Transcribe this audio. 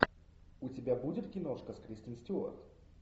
у тебя будет киношка с кристен стюарт